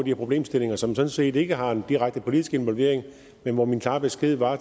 her problemstillinger som sådan set ikke har en direkte politisk involvering men hvor min klare besked var